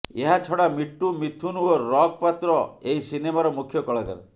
ଏହା ଛଡ଼ା ମିଟୁ ମିଥୁନ ଓ ରକ୍ ପାତ୍ର ଏହି ସିନେମାର ମୁଖ୍ୟ କଳାକାର